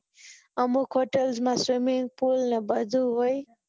અમુક હોટેલ માં swimming pool ને બધું હોય